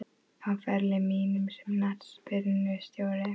Á ferli mínum sem knattspyrnustjóri?